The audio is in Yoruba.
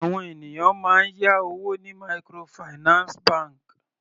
Àwọn ènìyàn máa ń yá owó ní microfinance bank.